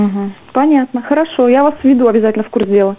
понятно хорошо я вас введу обязательно в курс дела